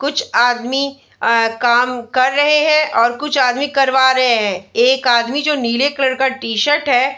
कुछ आदमी अ काम कर रहे हैं और कुछ आदमी करवा रहे हैं एक आदमी जो नीले कलर का टी-शर्ट है।